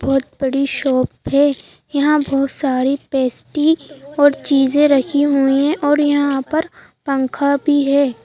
बहोत बड़ी शॉप है यहां बहोत सारी पेस्टी और चीजे रखी हुई है और यहां पर पंखा भी है।